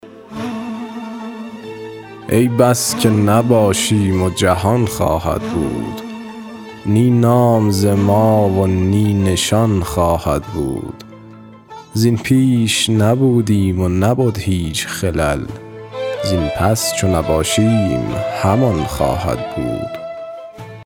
ای بس که نباشیم و جهان خواهد بود نی نام ز ما و نی نشان خواهد بود زین پیش نبودیم و نبد هیچ خلل زین پس چو نباشیم همان خواهد بود